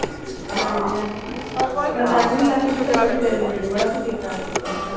ਹਾਂ ਹਾਂਜੀ ਮੈਦਾਨੀ ਇਲਾਕੇ ਚ ਤਾਂ ਬੜੀ ਗਰਮੀ ਹੁੰਦੀ ਹੈ ਬੜਾ ਪਸੀਨਾ ਆ ਜਾਂਦਾ ਹੈ।